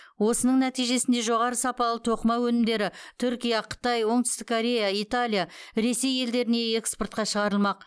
осының нәтижесінде жоғары сапалы тоқыма өнімдері түркия қытай оңтүстік корея италия ресей елдеріне экспортқа шығарылмақ